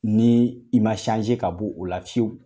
Ni i ka b'o la fiyewu.